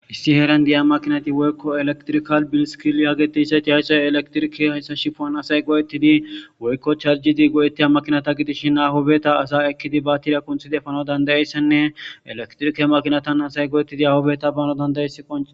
issi heeran diya makinati woykko elektrikal bilisikili hageti ssati hayxoy elektrike hayssa shifoan asay go7ettidi woykko charjidi go7etteya makinata gidishshin ahobeta asa ekkidi batira kunthide fano dandayessenne elektrike makinatan asay go7ettidi ahobeta bano dandayesi qon